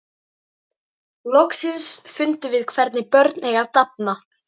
Loksins fundum við hvernig börn eiga að dafna.